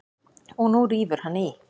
Og nú rífur hann í.